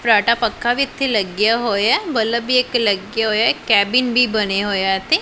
ਫਰਾਟਾ ਪੱਖਾ ਵੀ ਇੱਥੇ ਲੱਗਿਆ ਹੋਇਆ ਬੱਲਬ ਵੀ ਇੱਕ ਲੱਗਿਆ ਹੋਇਆ ਇੱਕ ਕੈਬਿਨ ਵੀ ਬਣਿਆਂ ਹੋਇਆ ਹੈ ਇੱਥੇ।